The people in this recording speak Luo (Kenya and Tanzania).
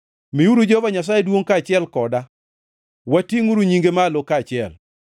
Miuru Jehova Nyasaye duongʼ kaachiel koda; watingʼuru nyinge malo kaachiel.